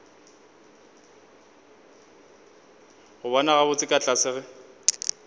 go bona gabotse ka tlase